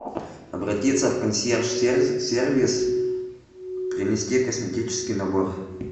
обратиться в консьерж сервис принести косметический набор